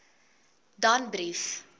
danbrief